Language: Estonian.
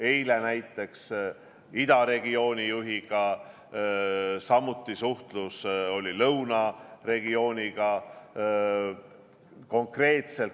Eile näiteks oli mul suhtlus ida regiooni juhiga, samuti lõuna regiooni juhiga.